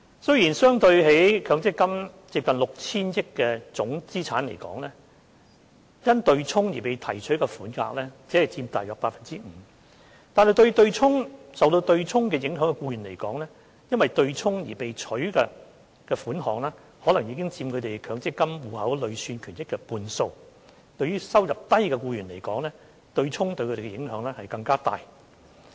雖然相對於強積金接近 6,000 億元的總資產值而言，因對沖而被提取的款額只佔大約 5%， 但對於受對沖影響的僱員來說，因對沖而被提取的款額可能已佔他們強積金戶口累算權益的半數，而對於收入低的僱員來說，對沖對他們的影響更大。